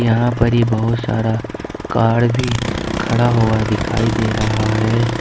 यहां पर ही बहुत सारा काड भी खड़ा हुआ दिखाई दे रहा है।